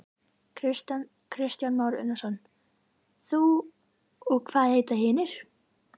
Kristján Már Unnarsson: Þú og hvað heita hinar?